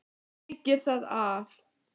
Sleikir það af.